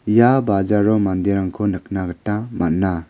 ia bajaro manderangko nikna gita man·a.